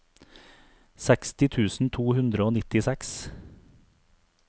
seksti tusen to hundre og nittiseks